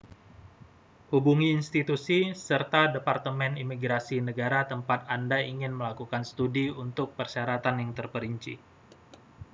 hubungi institusi serta departemen imigrasi negara tempat anda ingin melakukan studi untuk persyaratan yang terperinci